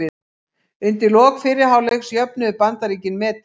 Undir lok fyrri hálfleiks jöfnuðu Bandaríkin metin.